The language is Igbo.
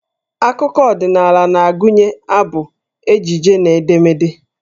Akụkọ ọdịnaala na-agụnye abụ, ejije na edemede.